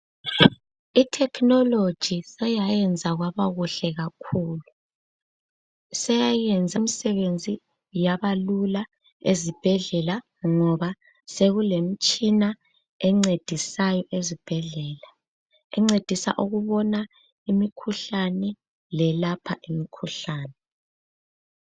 Ithekhinoloji seyayenza kwaba kuhle kakhulu. Seyayenza imisebenzi yabalula ezibhedlela. sekulemitshina ebona imikhuhlane leyelapha imikhuhlane.